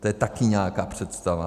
To je taky nějaká představa.